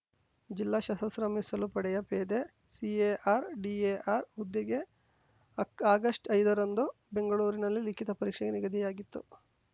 ಜಿಲ್ಲಾ ಸಶಸ್ತ್ರ ಮೀಸಲು ಪಡೆಯ ಪೇದೆ ಸಿಎಆರ್‌ಡಿಎಆರ್‌ ಹುದ್ದೆಗೆ ಅಕ್ ಆಗಸ್ಟ್ಐದರಂದು ಬೆಂಗಳೂರಲ್ಲಿ ಲಿಖಿತ ಪರೀಕ್ಷೆ ನಿಗದಿಯಾಗಿತ್ತು